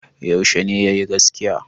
Yaushe ne ya yi gaskiya?